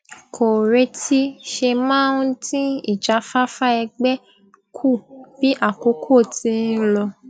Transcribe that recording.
kò retí ṣe máa ń dín ìjáfáfá ẹgbé kù bí àkókò ti ń lọ